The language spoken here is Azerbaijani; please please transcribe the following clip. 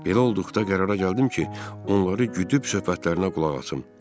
Belə olduqda qərara gəldim ki, onları güdüüb söhbətlərinə qulaq asım.